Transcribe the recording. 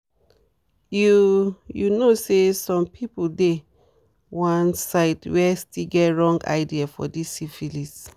you you know say some people dey one side where still get wrong ideas for this syphilis